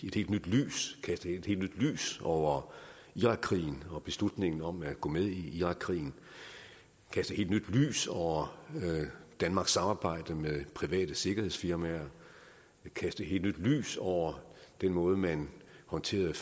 et helt nyt lys over irakkrigen og beslutningen om at gå med i irakkrigen kaste et helt nyt lys over danmarks samarbejde med private sikkerhedsfirmaer kaste et helt nyt lys over den måde man håndterede